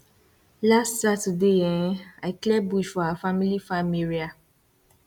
last saturday um i clear bush for our family farm area